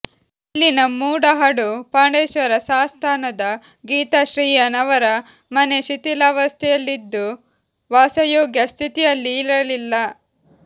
ಇಲ್ಲಿನ ಮೂಡಹಡು ಪಾಂಡೇಶ್ವರ ಸಾಸ್ತಾನದ ಗೀತಾ ಶ್ರೀಯಾನ್ ಅವರ ಮನೆ ಶಿಥಿಲಾವಸ್ಥೆಯಲ್ಲಿದ್ದು ವಾಸಯೋಗ್ಯ ಸ್ಥಿತಿಯಲ್ಲಿ ಇರಲಿಲ್ಲ